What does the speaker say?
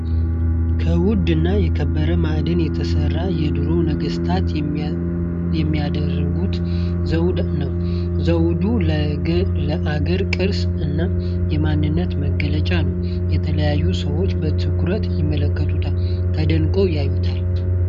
ከዉድ እና ከከበረ ማዕድን የተሰራ የድሮ ነገስታት የሚያደረሰጉት ዘዉድ ነዉ። ዘዉዱን ለአገር ቅርስ እና የማንነት መገለጫ ነዉ። የተለያዩ ሰዎች በአትኩሮት ይመለከቱታል። ተደንቀዉ ያዩታል! ።